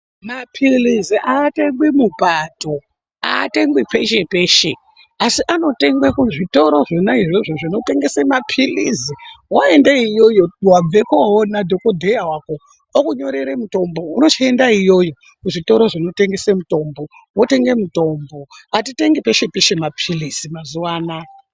Mapilizi aatengwi mupato, aatengwi peshe peshe asi anotengwa kuzvitoro zvona izvozvo zvinotengese mapilizi. Waenda iyoyo wabve koona dhokodheya wako okunyorera mutombo unochienda iyoyo kuzvitoro zvonotengese mutombo, wotenge mutombo atitengi peshe peshe mapilizi mazuwa anaa.